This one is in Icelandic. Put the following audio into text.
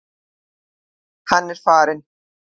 Hann er farinn.